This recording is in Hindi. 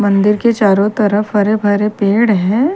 मंदिर के चारो तरफ हरे भरे पेड़ हैं।